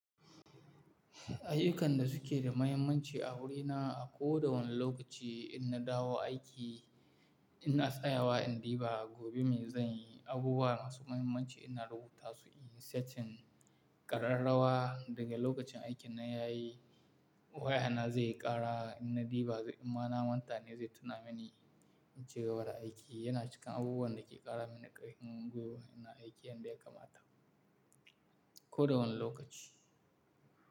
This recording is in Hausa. Ayukan da suke da muhimmanci a wurina, a ko da wane lokaci in na dawo aiki, ina tsayawa in diva, gobe mai zan yi, abubuwa masu muhiimmanci ina rubuta su, inyi setting ƙararrawa daga lokacin aikin nan yayi waya na zaiyi ƙara ina diba, in ma na mantane zai tuna mini in cigaba da aiki yana cikin abubuwan da ke ƙara mini ƙarfin gwiwa ina aiki yanda ya kamata. Ko da wane lokaci.